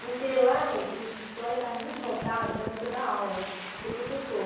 Porque lá o curso de história estava muito voltado para você dar aula, ser professor.